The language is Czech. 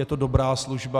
Je to dobrá služba.